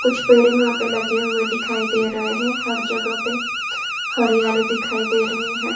कुछ पेड़ वहाँ पे लगे हुए दिखाई दे रहे हैं हर जगह पे हरियाली दिखाई दे रही है।